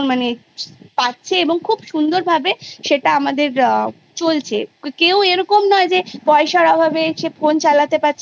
তাদের অনেক অসুবিধা Face করতে হবে তারপরে যখন সেটা চে পরবর্তী কালে Three থেকে Eight অবধি যে Period টা চালু করবে